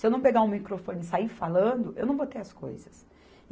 Se eu não pegar o microfone e sair falando, eu não vou ter as coisas.